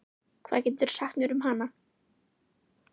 Hvað geturðu sagt mér um hana?